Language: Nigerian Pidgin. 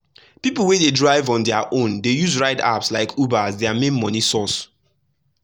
people wey dey drive on their own dey use ride apps like uber as their main money source.